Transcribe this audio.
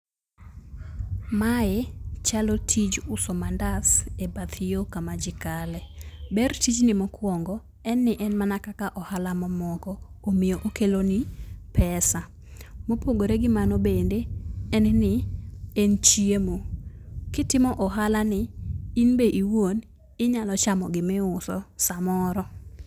Mae chalo tij uso mandas ebath yo kama ji kale. Ber tijni mokuongo, en ni en mana kaka ohala mamoko, omiyo okeloni pesa. Mopogore gi mano bende en ni en chiemo. Kitimo ohalani, in be iwuon inyalo chamo gimiuso samoro.